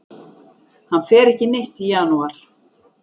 Hann fer ekki neitt í janúar.